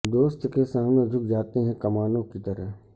دوست کے سامنے جھک جاتے ہیں کمانوں کی طرح